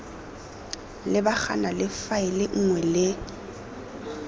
lebagana le faele nngwe le